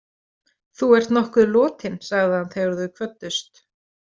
Þú ert nokkuð lotin, sagði hann þegar þau kvöddust.